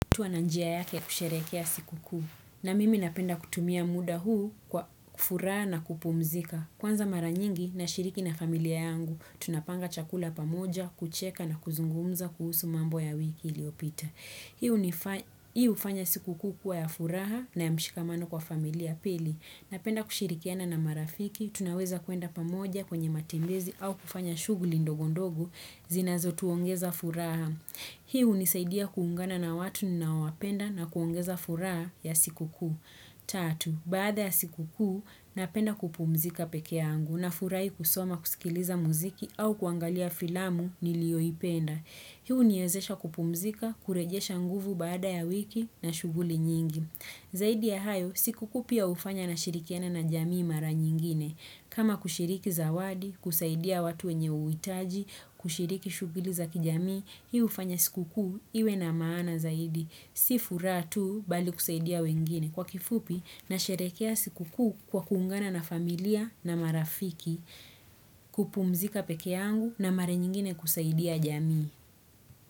Mtu ana njia yake ya kusherehekea siku kuu na mimi napenda kutumia muda huu kwa furaha na kupumzika. Kwanza mara nyingi nashiriki na familia yangu, tunapanga chakula pamoja, kucheka na kuzungumza kuhusu mambo ya wiki iliyopita. Hii hufanya siku kuu kuwa ya furaha na ya mshikamano kwa familia pili. Napenda kushirikiana na marafiki, tunaweza kuenda pamoja kwenye matembezi au kufanya shughuli ndogondogo, zinazotuongeza furaha. Hii hunisaidia kuungana na watu ninaowapenda na kuongeza furaha ya siku kuu. Tatu, baada ya siku kuu, napenda kupumzika peke yangu nafurahi kusoma kusikiliza muziki au kuangalia filamu nilioipenda. Hii huniezesha kupumzika, kurejesha nguvu baada ya wiki na shughuli nyingi. Zaidi ya hayo, siku kuu pia hufanya nashirikiana na jamii mara nyingine. Kama kushiriki zawadi, kusaidia watu wenye uhitaji, kushiriki shughuli za kijamii, hii hufanya sikukuu, iwe na maana zaidi. Si furaha tu bali kusaidia wengine. Kwa kifupi, nasherehekea sikukuu kwa kuungana na familia na marafiki, kupumzika peke yangu na mara nyingine kusaidia jamii.